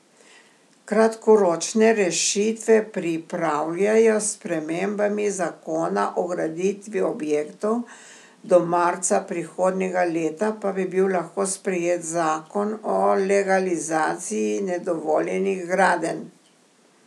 Kratkoročne rešitve pripravljajo s spremembami zakona o graditvi objektov, do marca prihodnjega leta pa bi bil lahko sprejet zakon o legalizaciji nedovoljenih gradenj.